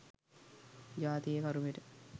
ජාතියේ කරුමෙට.